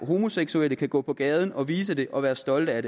homoseksuelle kan gå på gaden og vise det og være stolte af